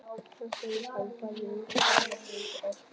Hann segist hafa farið út á hálar brautir í ástamálum.